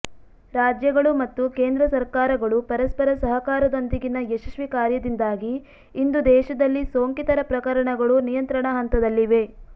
ರಾಜ್ಯಗಳು ಮತ್ತು ಕೇಂದ್ರ ಸರ್ಕಾರಗಳು ಪರಸ್ಪರ ಸಹಕಾರದೊಂದಿಗಿನ ಯಶಸ್ವಿ ಕಾರ್ಯದಿಂದಾಗಿ ಇಂದು ದೇಶದಲ್ಲಿ ಸೋಂಕಿತರ ಪ್ರಕರಣಗಳು ನಿಯಂತ್ರಣ ಹಂತದಲ್ಲಿವೆ